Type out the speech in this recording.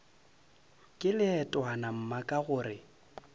ke leetwana mma ka gore